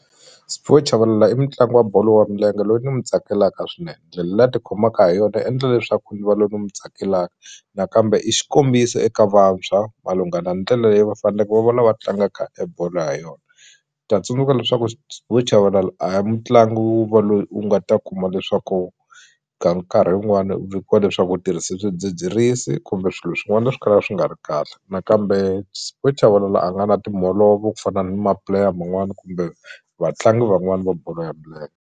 Sphiwe Chavalala i mutlangi wa bolo ya milenge loyi ni mu tsakelaka swinene ndlela leyi a tikhomaka ha yona yi endla leswaku ni va loyi ni mu tsakelaka nakambe i xikombiso eka vantshwa malungana ndlela leyi va faneke va va lava tlanga kahle bolo ha yona ta tsundzuka leswaku Sphiwe Chabalala a hi mutlangi wo va loyi u nga ta kuma leswaku ka nkarhi wun'wani vikiwa leswaku u tirhise swidzidzirisi kumbe swilo swin'wana swikala swi nga ri kahle nakambe Sphiwe Chabalala a nga na timholovo ku fana ni ma-player man'wani kumbe vatlangi van'wani va bolo ya .